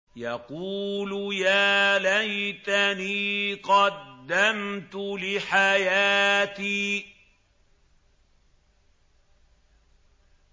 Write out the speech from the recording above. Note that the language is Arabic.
يَقُولُ يَا لَيْتَنِي قَدَّمْتُ لِحَيَاتِي